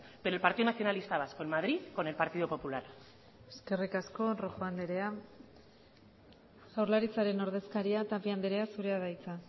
pero el partido nacionalista vasco en madrid con el partido popular eskerrik asko rojo andrea jaurlaritzaren ordezkaria tapia andrea zurea da hitza